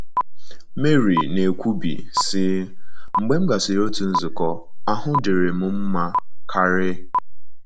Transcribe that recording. Marie na - ekwubi, sị: “ Mgbe m gasịrị otu nzukọ, ahụ́ dịrị m mma karị.